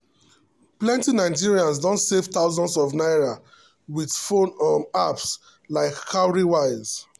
plenty nigerians don save thousands of naira with phone um apps like cowrywise.